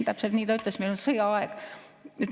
Täpselt nii ta ütles, et meil oli sõjaaeg.